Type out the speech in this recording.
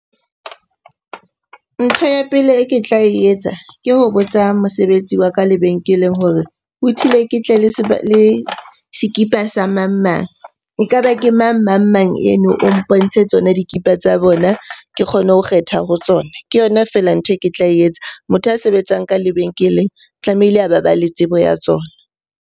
Ntho ya pele e ke tla etsa ke ho botsa mosebetsi wa ka lebenkeleng hore ho thile ke tle le sekipa sa mang-mang. Ekaba ke mang mang-mang eno? O mpontshe tsona dikipa tsa bona ke kgone ho kgetha ho tsona. Ke yona feela ntho e ke tla etsa. Motho a sebetsang ka lebenkeleng tlamehile a ba ba le tsebo ya tsona.